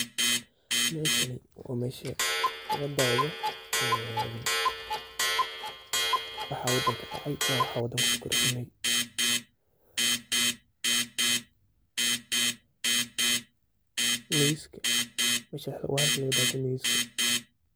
Meshani wa mesha lagaawado wihi wadanka kadacay iyo wixi wadanka quso qordisme, News waa halka laga dawado News.